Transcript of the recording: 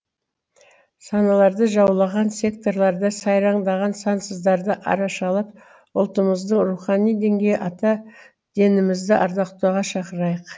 саналарды жаулаған секталарда сайраңдаған санасыздарды арашалап ұлтымыздың рухани діңгегі ата дінімізді ардақтауға шақырайық